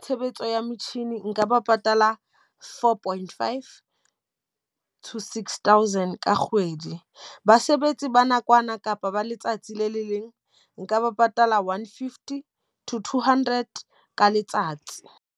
tshebetso ya metjhini nka ba patala four point five to six thousand ka kgwedi. Basebetsi ba nakwana kapa ba letsatsi le le leng nka ba patala one-fifty to two hundred ka letsatsi.